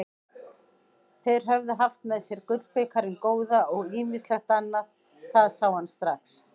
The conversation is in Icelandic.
Þeir höfðu haft með sér gullbikarinn góða og ýmislegt annað, það sá hann strax.